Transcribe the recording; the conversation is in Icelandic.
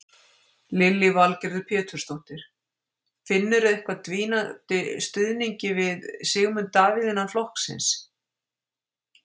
Lillý Valgerður Pétursdóttir: Finnurðu eitthvað dvínandi stuðningi við Sigmund Davíð innan flokksins?